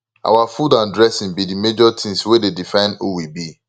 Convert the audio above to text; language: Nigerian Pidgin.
our food and dressing be di major things wey dey define who we be